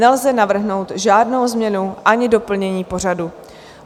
Nelze navrhnout žádnou změnu ani doplnění pořadu.